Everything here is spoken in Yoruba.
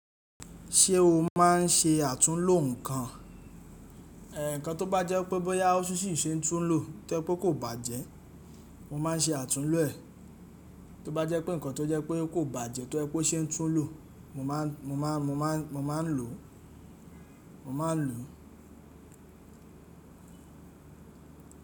Ṣé o má a n ṣe àtúnlo nǹkan? Ẹ̀, ǹkan tó bá jẹ́ pé bóyá ó ṣì ṣe tún lo tó jẹ pé kò bàjẹ́, mo má a n ṣe àtúnlo ẹ. Tó bá jẹ́ pé ǹkan tó jẹ́ pé kò bàjẹ́ tó jẹ pé o ṣe tún lo, mo má a n lò, mo má a n lò.